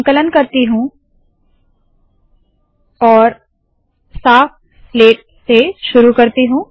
संकलन करती हूँ और साफ स्लेट से शुरू करती हूँ